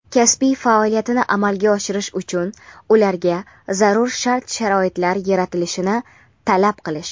kasbiy faoliyatini amalga oshirish uchun ularga zarur shart-sharoitlar yaratilishini talab qilish;.